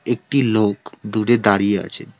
একটি লোক দূরে দাঁড়িয়ে আছেন।